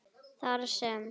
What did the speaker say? Þar sem